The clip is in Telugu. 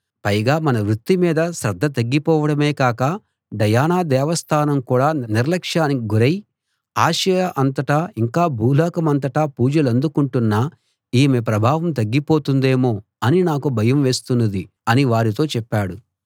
పైగా మన వృత్తి మీద శ్రద్ధ తగ్గిపోవడమే కాక డయానా దేవస్థానం కూడ నిర్లక్షానికి గురై ఆసియా అంతటా ఇంకా భూలోకమంతటా పూజలందుకుంటున్న ఈమె ప్రభావం తగ్గిపోతుందేమో అని నాకు భయం వేస్తున్నది అని వారితో చెప్పాడు